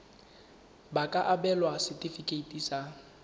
ba ka abelwa setefikeiti sa